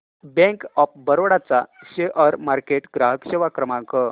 bank of Baroda चा share market ग्राहक सेवा क्रमांक